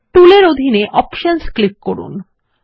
টুল এর অধীনে options click করুন